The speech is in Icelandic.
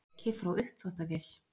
Leki frá uppþvottavél